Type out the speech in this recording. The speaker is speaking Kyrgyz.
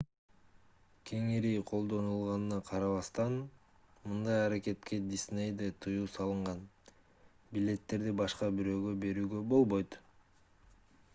кеңири колдонулганына карабастан мындай аракетке disney'де тыюу салынган: билеттерди башка бирөөгө берүүгө болбойт